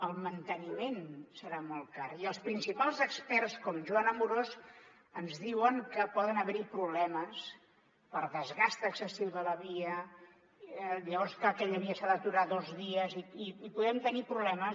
el manteniment serà molt car i els principals experts com joan amorós ens diuen que poden haver hi problemes per desgast excessiu de la via llavors clar aquella via s’ha d’aturar dos dies i podem tenir problemes